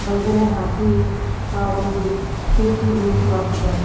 ಒಳಗಡೆ ಹಾಕಿ ಆ ಒಂದು ಸೇಫ್ಟಿ ರೂಲ್ಸ್ ಮಾಡ್ತಿದ್ದಾರೆ.